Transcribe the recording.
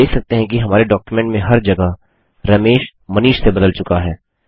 आप देख सकते हैं कि हमारे डॉक्युमेंट में हर जगह रमेश मनीष से बदल चुका है